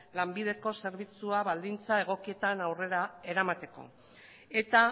lanbideko zerbitzua baldintza egokietan aurrera eramateko eta